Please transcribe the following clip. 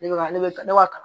Ne bɛ ka ne wa tan